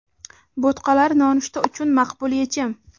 Bo‘tqalar nonushta uchun maqbul yechim.